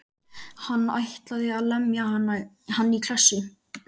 Hann ætlaði að lemja hann í klessu.